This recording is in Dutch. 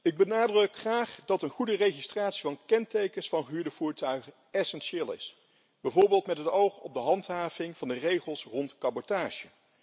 Ik benadruk graag dat een goede registratie van kentekens van gehuurde voertuigen essentieel is, bijvoorbeeld met het oog op de handhaving van de regels rond cabotage.